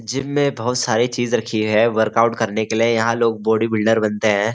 Gym में बहुत सारी चीज रखी हुई है वर्कआउट करने के लिए यहाँ लोग बॉडी बिल्डर बनते हैं।